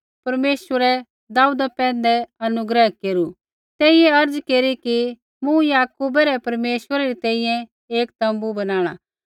परमेश्वरै दाऊदा पैंधै अनुग्रह केरू तेइयै अर्ज़ केरी कि मूँ याकूबै रै परमेश्वरै री तैंईंयैं एक तोम्बू बनाणा